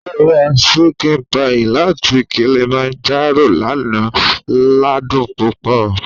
Ó ra ṣíkìn páyì láti Kilimanjaro lánàá ládùn púpọ̀